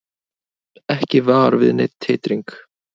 Ekki var við neinn titring